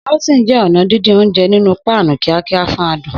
Sautéing jẹ́ ọ̀nà dídín oúnjẹ nínú páànù kíákíá fún adùn.